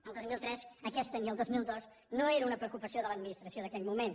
al dos mil tres ni al dos mil dos aquesta no era una preocupació de l’administració d’aquell moment